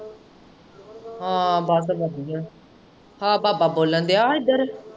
ਹਾਂ ਬਸ ਵਧੀਆ ਆਹ ਬਾਬਾ ਬੋਲਣ ਦਿਆਂ ਹਾਂ ਇੱਧਰ।